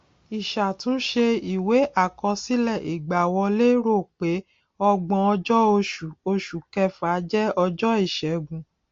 ìṣàtúnṣe ìwé àkọsílẹ ìgbàwọlé rò pé ọgbónọjọ oṣù oṣù kẹfà jẹ ọjọ ìṣẹgun